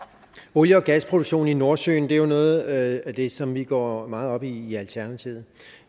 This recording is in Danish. olie og gasproduktion i nordsøen er jo noget af det som vi går meget op i i alternativet